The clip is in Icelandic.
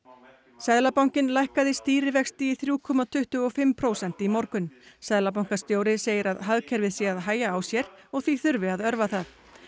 seðlabankinn lækkaði stýrivexti í þrjú komma tuttugu og fimm prósent í morgun seðlabankastjóri segir að hagkerfið sé að hægja á sér og því þurfi að örva það